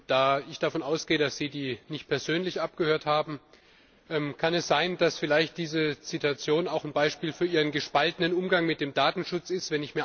Da ich davon ausgehe, dass Sie die nicht persönlich abgehört haben Kann es sein, dass vielleicht diese Situation auch ein Beispiel für Ihren gespaltenen Umgang mit dem Datenschutz ist?